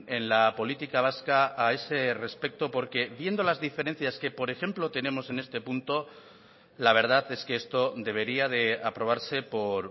en la política vasca a ese respecto porque viendo las diferencias que por ejemplo tenemos en este punto la verdad es que esto debería de aprobarse por